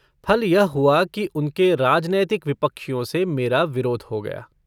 फल यह हुआ कि उनके राजनैतिक विपक्षियों से मेरा विरोध हो गया।